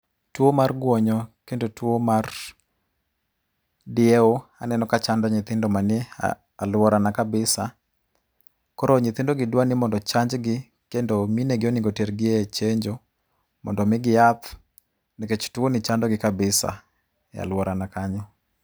Tuo mar guonyo, kendo tuo mar diewo aneno kachando nyithindo manie aluorana kabisa. Koro nyithindogi dwa ni mondo ochanjgi kendo minegi onego otergi e chenjo mondo omigi yath nikech tuoni chandogi kabisa e aluorana kanyo.